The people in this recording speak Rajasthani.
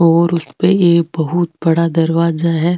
और उसपे एक बहुत बड़ा दरवाजा है।